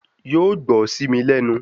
Yóò gbọ́ sí mi lẹ́nu